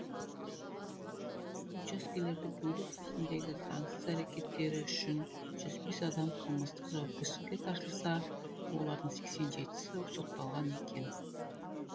учаскелерді бөлу кезіндегі заңсыз әрекеттері үшін жүз бес адам қылмыстық жауапкершілікке тартылса олардың сексен жетісі сотталған екен